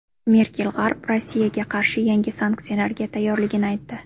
Merkel G‘arb Rossiyaga qarshi yangi sanksiyalarga tayyorligini aytdi.